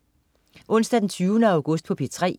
Onsdag den 20. august - P3: